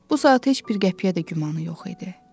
Bu saat heç bir qəpiyə də gümanı yox idi.